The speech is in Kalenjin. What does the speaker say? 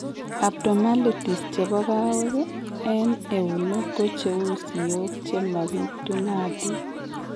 Abnormalities chebo kawek en eunek ko cheu siok chemabitunatin